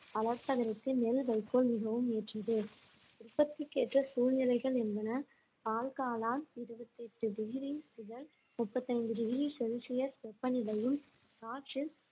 வளர்ப்பதற்கு நெல் வைக்கோல் மிகவும் ஏற்றது உற்பத்திக்கேற்ற சூழ்நிலைகள் என்பன பால்காளான் இருபத்தி எட்டு டிகிரி முதல் முப்பத்தி ஐந்து டிகிரி செல்சியஸ் வெப்பநிலையும் காற்றில்